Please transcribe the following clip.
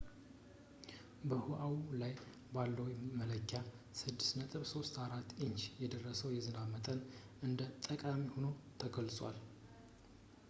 በኦዋሁ ላይ ባለው መለኪያ 6.34 ኢንች የደረሰው የዝናብ መጠን እንደ ጠቃሚ ሆኖ ተገልጿል